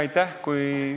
Aitäh!